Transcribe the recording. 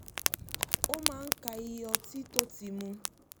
ó máa ń ka iye ọtí tó ti mu